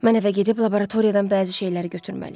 Mən evə gedib laboratoriyadan bəzi şeyləri götürməliyəm.